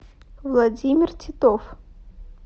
владимир титов